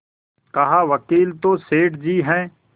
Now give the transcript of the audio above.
कहावकील तो सेठ जी हैं